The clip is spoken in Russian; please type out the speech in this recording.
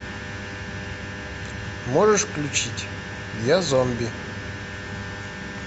можешь включить я зомби